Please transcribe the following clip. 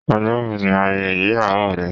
Ọjọ́ wo ni ayẹyẹ ìgbéyàwó rẹ?